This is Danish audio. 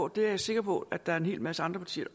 det er jeg sikker på at der er en hel masse andre partier